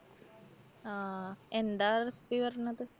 ആ എന്താ recipe പറഞ്ഞത്?